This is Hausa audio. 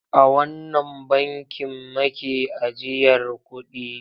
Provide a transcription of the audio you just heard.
A wannan bankin make ajiyar kuɗi?